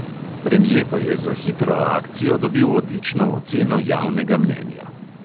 Premje pa je za hitro akcijo dobil odlično oceno javnega mnenja.